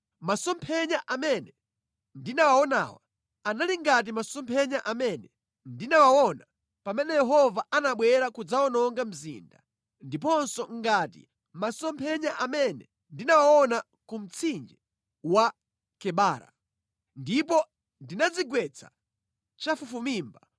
Masomphenya amene ndinawaonawa anali ngati masomphenya amene ndinawaona pamene Yehova anabwera kudzawononga mzinda ndiponso ngati masomphenya amene ndinawaona ku mtsinje wa Kebara. Ndipo ndinadzigwetsa chafufumimba.